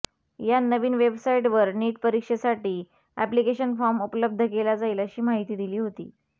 या नवीन वेबसाइटवर नीट परीक्षेसाठी एप्लीकेशन फॉर्म उपलब्ध केला जाईल अशी माहिती दिली होती